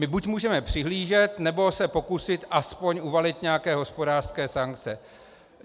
My buď můžeme přihlížet, nebo se pokusit aspoň uvalit nějaké hospodářské sankce.